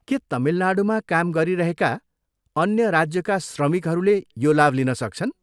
के तमिलनाडूमा काम गरिरहेका अन्य राज्यका श्रमिकहरूले यो लाभ लिन सक्छन्?